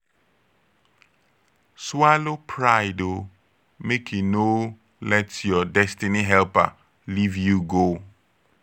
swallow pride o mek e no let yur destiny helper live you go